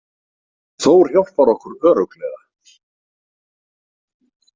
Þór hjálpar okkur örugglega.